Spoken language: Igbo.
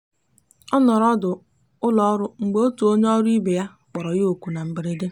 ọ nọrọ ọdụ ụlọọrụ mgbe otu onye ọrụ ibe ya kpọrọ ya oku na mberede.